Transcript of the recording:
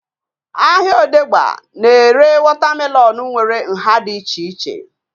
Ahịa odegba na-ere wọta melọnu nwere nhá dị iche iche